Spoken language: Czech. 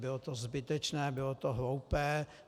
Bylo to zbytečné, bylo to hloupé.